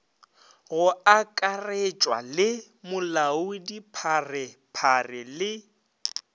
go akaretšwa le molaodipharephare le